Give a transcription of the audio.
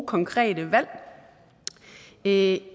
konkrete valg en